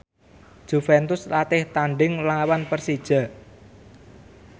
Juventus latih tandhing nglawan Persija